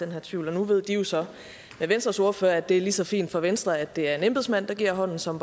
her tvivl og nu ved de jo så ved venstres ordfører at det er lige så fint for venstre at det er en embedsmand der giver hånden som